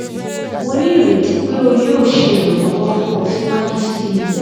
mo ni ireti pe o yoo ṣe iranlọwọ fun ọ siwaju sii